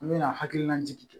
An me na hakilina jigin